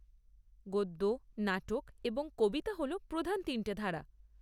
গদ্য, নাটক এবং কবিতা হল প্রধান তিনটে ধারা।